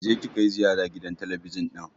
Kije ki kai ziyara gidan talabijin ɗin!